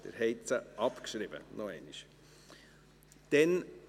Noch einmal: Sie haben sie abgeschrieben.